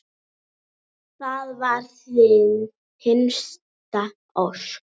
Það var þín hinsta ósk.